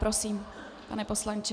Prosím, pane poslanče.